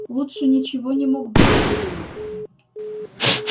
лучше ничего не мог бы ты придумать